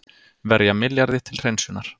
Verja milljarði til hreinsunar